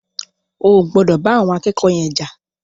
O ò gbọdọ̀ bá àwọn akẹ́kọ̀ọ́ yen jà.